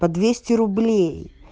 по двести рублей